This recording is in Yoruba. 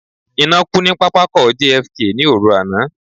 Iná kú ní pápákọ̀ JFK ní òru àná.